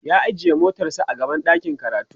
ya ajiye motar sa a gaban ɗakin karatu